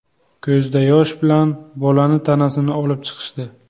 Ko‘zda yosh bilan bolani tanasini olib chiqishdi.